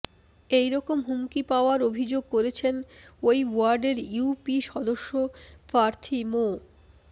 এই রকম হুমকি পাওয়ার অভিযোগ করেছেন ওই ওয়ার্ডের ইউপি সদস্য প্রার্থী মো